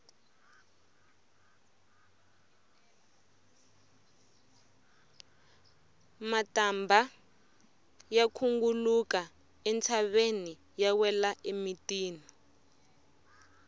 matambha ya khunguluka entshaveni ya wela emitini